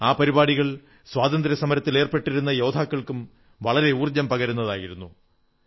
ആ പരിപാടികൾ സ്വാതന്ത്ര്യസമരത്തിലേർപ്പെട്ടിരുന്ന യോദ്ധാക്കൾക്കും വളരെ ഊർജ്ജം പകരുന്നതായിരുന്നു